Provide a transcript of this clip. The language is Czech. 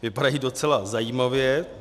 Vypadají docela zajímavě.